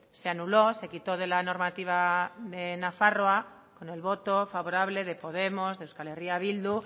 se anuló se quitó de la normativa de nafarroa con el voto favorable de podemos de euskal herria bildu